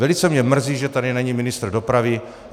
Velice mě mrzí, že tady není ministr dopravy.